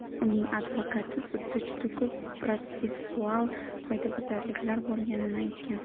Uning advokati sudda juda ko‘p protsessual qoidabuzarliklar bo‘lganini aytgan .